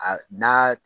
A n'a